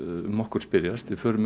um okkur spyrjast við förum